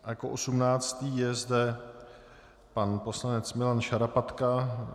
Jako osmnáctý je zde pan poslanec Milan Šarapatka.